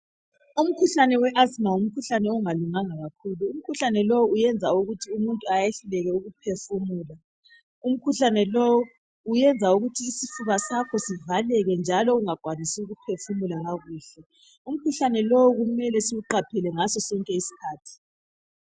Umkhuhlane we asthma ngumkhuhlane ongalulanganga kakhulu , umkhuhlane lowu uyenza ukuthi umuntu ayehluleke ukuphefumula , umkhuhlane lo uyenza ukuthi isifuba sakho sivakeke njalo ungakwanisi ukuphefumula kakuhle , umkhuhlane lo kumele siwuqaphele ngaso sonke iskhathi